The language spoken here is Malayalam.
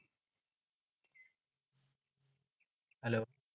hello